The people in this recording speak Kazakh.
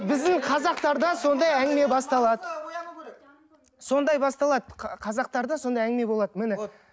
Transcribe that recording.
біздің қазақтарда сондай әңгіме басталады сондай басталады қазақтарда сондай әңгіме болады міне